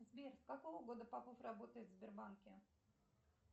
сбер с какого года попов работает в сбербанке